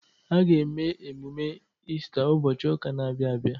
A ga-eme emume Iista ụbọchị ụka na-abịa abịa.